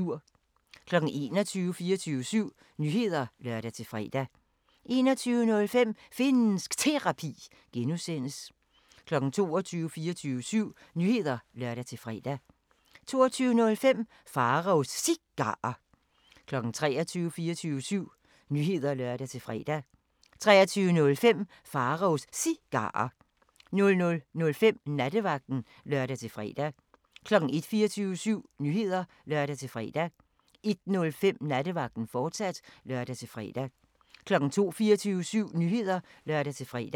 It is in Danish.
21:00: 24syv Nyheder (lør-fre) 21:05: Finnsk Terapi (G) 22:00: 24syv Nyheder (lør-fre) 22:05: Pharaos Cigarer 23:00: 24syv Nyheder (lør-fre) 23:05: Pharaos Cigarer 00:05: Nattevagten (lør-fre) 01:00: 24syv Nyheder (lør-fre) 01:05: Nattevagten, fortsat (lør-fre) 02:00: 24syv Nyheder (lør-fre)